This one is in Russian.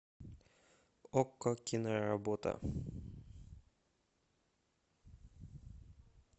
окко киноработа